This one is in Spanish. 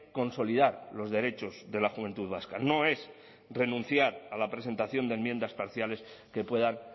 consolidar los derechos de la juventud vasca no es renunciar a la presentación de enmiendas parciales que puedan